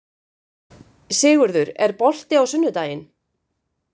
Sigurður, er bolti á sunnudaginn?